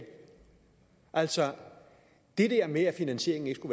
altså det der med at finansieringen ikke